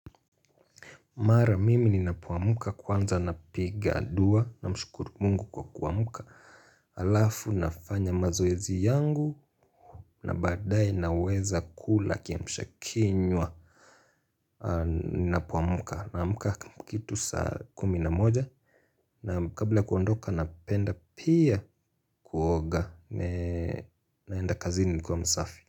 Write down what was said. Mara mimi ninapoamka kwanza napiga dua na mshukuru mungu kwa kuamka. Alafu nafanya mazoezi yangu na badae naweza kula kiamsha kinywa. Ninapoamka naamka kitu saa kumi na moja na kabla kuondoka napenda pia kuoga naenda kazini nikuwa msafi.